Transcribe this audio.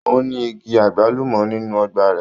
Ó ní igi àgbálùmọ́ nínú ọgbà rẹ̀.